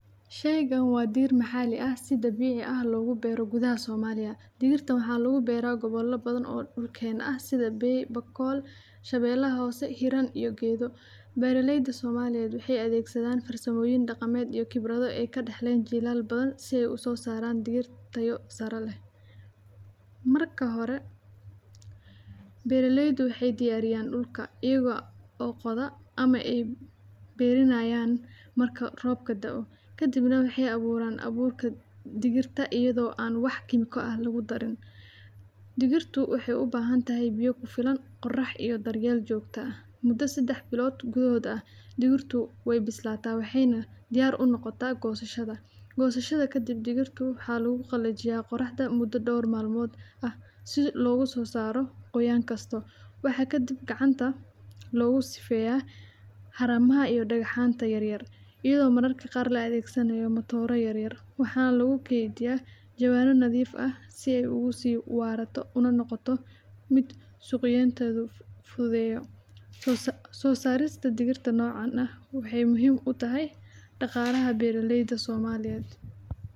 Habbanka qamadiga waa mid muhiim u ah nolosha aadanaha, waana caddayn qiimaha beeraha iyo horumarka dhaqanka cunnada ee dunida, sababtoo ah qamadigu waa mid ka mid ah xubnaha ugu muhiimsan cuntada aadanaha, waxaana lagu isticmaalaa in lagu sameeyo rooti, macaroon, baasto, iyo noocyo kale oo cunto ah, waxaana jirta faa’iidooyin badan oo caafimaad ku saabsan cunnada qamadiga, sida ay u tahay xoogga jidhka, kor u qaadida tamarta, iyo taageerida nafaqada maaddada, waxaana laga beeraa meelo badan oo adduunka ah, gaar ahaan waddamada Bariga Dhexe, Yurub, iyo Ameerika, isla markaana qamadigu wuxuu.